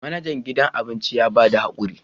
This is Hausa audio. Manajan gidan abinci ya ba mu hakuri